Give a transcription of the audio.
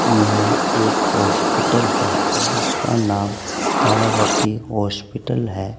यह एक हॉस्पिटल है जिसका नाम तारावती हॉस्पिटल है।